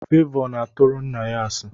Favor na aturu nna ya asi.